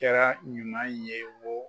Kɛra ɲuman ye wo